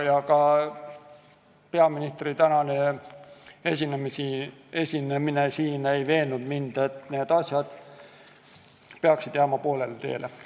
Ka peaministri tänane esinemine siin ei veennud mind, et need asjad peaksid jääma poolele teele.